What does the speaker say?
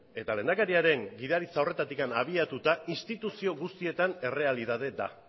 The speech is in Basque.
eta lehendakariaren gidaritza horretatik abiatuta instituzio guztietan errealitatea da